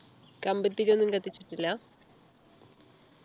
കമ്പിതിരിയൊന്നും കത്തിച്ചിട്ടില്ല